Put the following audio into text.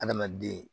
Adamaden